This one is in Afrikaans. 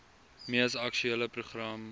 mees aktuele program